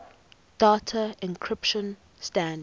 data encryption standard